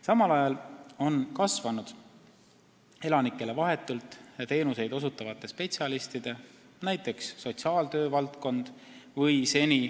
Samal ajal on kasvanud elanikele vahetult teenuseid osutavate spetsialistide koguarv .